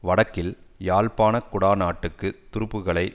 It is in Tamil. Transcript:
வடக்கில் யாழ்ப்பாண குடாநாட்டுக்கு துருப்புக்களை